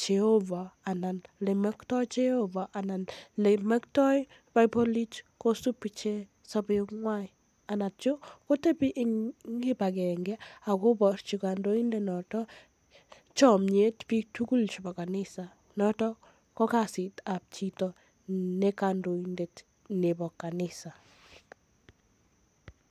jehova anan ole moktoi jehova anan olemoktoi bibolit kosub ichek sobei kwai anan kotebi eng kibagenge akoborji kandoinde notok chomiet bik tugul chebo kanisa notok ko kasitab chito ne kandoindet nebo kanisa